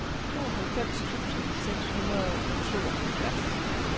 tooghalvfems tusind seks hundrede og tooghalvfjerds